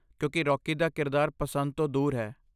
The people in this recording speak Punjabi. ਕਿਉਂਕਿ ਰੌਕੀ ਦਾ ਕਿਰਦਾਰ ਪਸੰਦ ਤੋਂ ਦੂਰ ਹੈ।